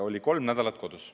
Oli kolm nädalat kodus.